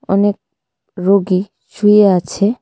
অনেক রুগী শুয়ে আছে.